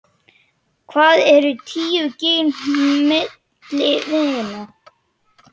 Hvað eru tíu gin milli vina.